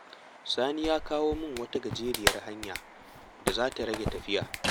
Sani ya koya min wata gajeriyar hanya da za ta rage tafiya.